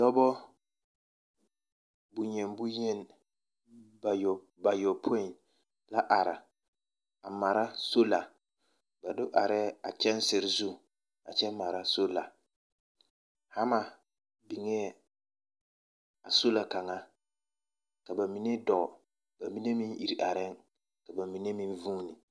Dɔbɔ bonyeni bonyeni bayɔ bayɔpoĩ la ara a mara sola. Ba do arɛɛ a kyɛnsere zu a kyɛ mara sola. Hama biŋee a sola kaŋa ka ba mine dɔɔ ba mine meŋ ir arɛŋ, ka ba mine meŋ vuuni.